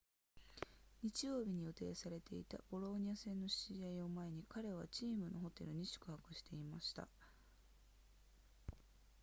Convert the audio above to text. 日曜日に予定されていたボローニャ戦の試合を前に彼はチームのホテルに宿泊していました